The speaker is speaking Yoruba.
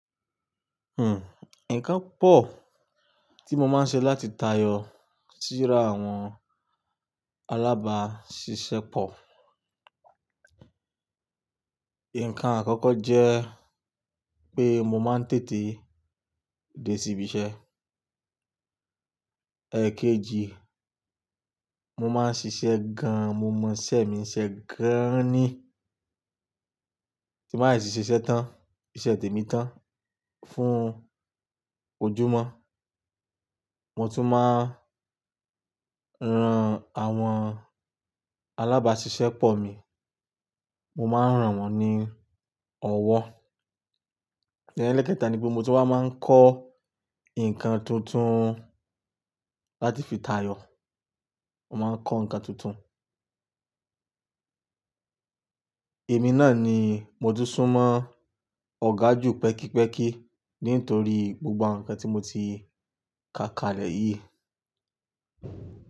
Hmm, ǹkan pọ̀ tí mo máa ń ṣe láti tayọ síra àwọn alábàáṣiṣẹ́ pọ̀. Ǹkan àkọ́kọ́ jẹ́ pé mo máa ń tètè dé síbi iṣẹ́. Ẹ̀ẹ̀kejì, mo máa ń ṣiṣẹ́ gan, mo mọ iṣẹ́ mi n ṣe gan ni. Tí mo ba de ti ṣiṣẹ́ tán, iṣẹ́ tèmi tán fún ojúmọ́. Mo tún máa ń ran àwọn alabaasise po mipọ̀ mi, mo máa ń ràn wọ́n ní ọwọ́. Ẹ̀ẹ́lẹ̀keta ni pé mo tún wa máa ń kọ́ ǹkan tuntun láti fi tayọ̀. Mo máa ń kọ́ ǹkan tuntun. Èmi náà ni mo tún súnmọ́ ọ̀gá ju pẹ́kípẹ́kí nítorí gbogbo awon ǹkan tí mo ti ka kalẹ̀ yìí.